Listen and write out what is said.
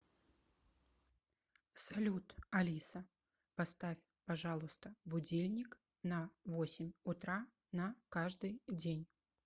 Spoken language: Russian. салют алиса поставь пожалуйста будильник на восемь утра на каждый день